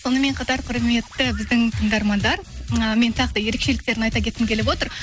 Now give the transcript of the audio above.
сонымен қатар құрметті біздің тыңдармандар ы мен тағы да ерекшеліктерін айта кеткім келіп отыр